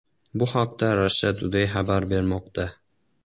Bu haqda Russia Today xabar bermoqda .